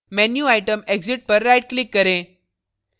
menu item exit पर right click करें